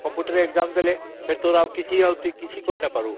computer ରେ exam ଦେଲେ ଆଉ କିଛି କରିପାରିବୁନି